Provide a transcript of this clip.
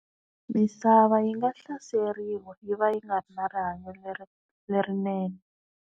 Misava yi nga hlaseriwa yi va yi nga ri na rihanyo leri lerinene.